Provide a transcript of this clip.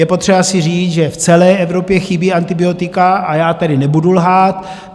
Je potřeba si říct, že v celé Evropě chybí antibiotika, a já tedy nebudu lhát.